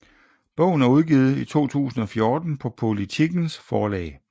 Bogen er udgivet i 2014 på Politikens forlag